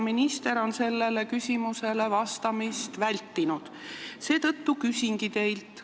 Minister on sellele küsimusele vastamist vältinud, seetõttu küsingi teilt.